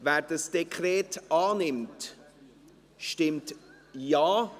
Wer dieses Dekret annimmt, stimmt Ja.